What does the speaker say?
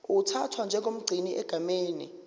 uthathwa njengomgcini egameni